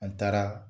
An taara